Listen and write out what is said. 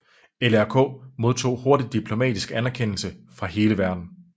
LRK modtog hurtigt diplomatisk anerkendelse fra hele verden